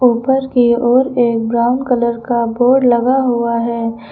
उपर की ओर एक ब्राउन कलर का बोर्ड लगा हुआ है।